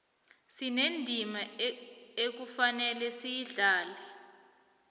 sinendima ekufanele siyidlale